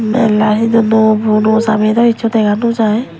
berla he donno puro noa jamei do hissu dega nojai.